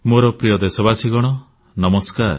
ମୋର ପ୍ରିୟ ଦେଶବାସୀଗଣ ନମସ୍କାର